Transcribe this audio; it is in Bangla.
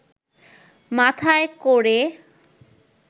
মাথায় ক’রে